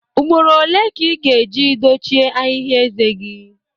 Ugboro ole ka ị ga-eji dochie ahịhịa eze gị?